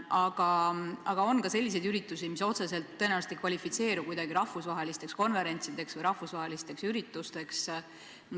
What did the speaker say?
Aga on ka selliseid üritusi, mis otseselt ei kvalifitseeru rahvusvaheliseks konverentsiks või muuks rahvusvaheliseks ürituseks.